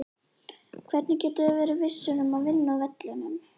Hvernig getum við verið vissir um að vinna á vellinum?